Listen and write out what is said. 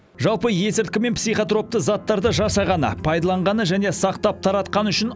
жалпы есірткі мен психотропты заттарды жасағаны пайдаланғаны және сақтап таратқаны үшін